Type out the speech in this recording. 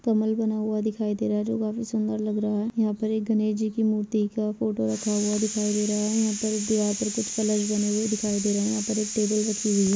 कमल बना हुआ दिखाई दे रहा है जो काफी सुन्दर लग रहा है यहाँ पर एक गणेश जी की मूर्ति का फोटो रखा हुआ दिखाई दे रहा है यहाँ पर दिवार पर कुछ कलर्स बने हुई दिखाई दे रहे है यहाँ पर एक टेबल रखी हुई है।